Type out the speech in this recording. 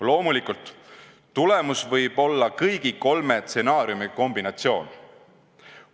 Loomulikult, tulemus võib olla kõigi kolme stsenaariumi kombinatsioon.